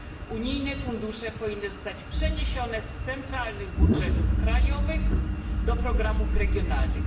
Unijne fundusze powinny zostać przeniesione z centralnych budżetów krajowych do programów regionalnych.